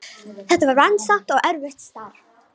Þetta var vandasamt og erfitt starf.